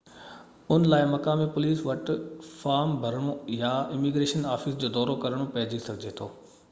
ان لاءِ مقامي پوليس وٽ فارم ڀرڻو يا اميگريشن آفيس جو دورو ڪرڻو پئجي سگهي ٿو